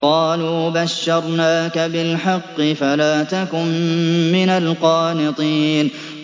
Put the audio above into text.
قَالُوا بَشَّرْنَاكَ بِالْحَقِّ فَلَا تَكُن مِّنَ الْقَانِطِينَ